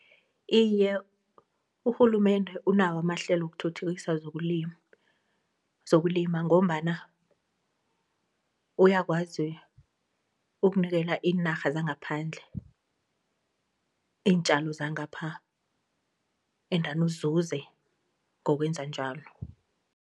Iye urhulumende unawo amahlelo wokuthuthukisa zokulima ngombana uyakwazi ukunikela iinarha zangaphandle iintjalo zangapha endani uzuze ngokwenza njalo.